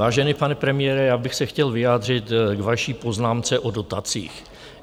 Vážený pane premiére, já bych se chtěl vyjádřit k vaší poznámce o dotacích.